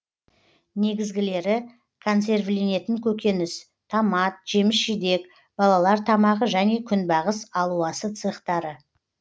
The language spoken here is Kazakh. негізгілері консервіленетін көкөніс томат жеміс жидек балалар тамағы және күнбағыс алуасы цехтары